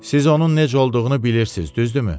Siz onun necə olduğunu bilirsiz, düzdürmü?